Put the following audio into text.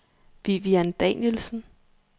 Vivian Danielsen